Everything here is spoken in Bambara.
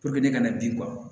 ne kana bin kɔ